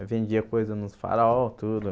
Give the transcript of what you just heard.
Eu vendia coisa nos farol, tudo.